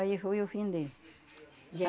Aí foi o fim dele.